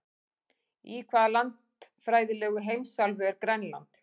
Í hvaða landfræðilegu heimsálfu er Grænland?